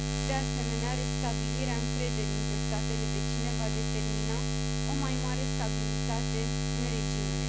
De asemenea, restabilirea încrederii între statele vecine va determina o mai mare stabilitate în regiune.